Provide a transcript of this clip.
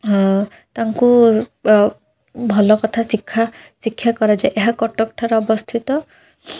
ହଁ ତାଙ୍କୁ ଭଲକଥ ସିଖା ସିଖ୍ଯା କରାଯାଏ ଏହା କଟକଠାରେ ଅବସ୍ଥିତ ।